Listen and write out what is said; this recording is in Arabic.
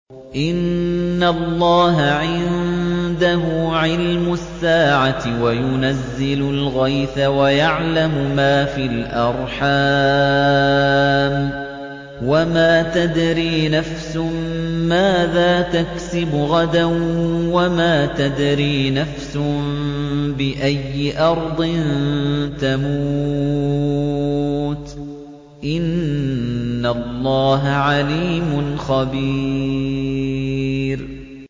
إِنَّ اللَّهَ عِندَهُ عِلْمُ السَّاعَةِ وَيُنَزِّلُ الْغَيْثَ وَيَعْلَمُ مَا فِي الْأَرْحَامِ ۖ وَمَا تَدْرِي نَفْسٌ مَّاذَا تَكْسِبُ غَدًا ۖ وَمَا تَدْرِي نَفْسٌ بِأَيِّ أَرْضٍ تَمُوتُ ۚ إِنَّ اللَّهَ عَلِيمٌ خَبِيرٌ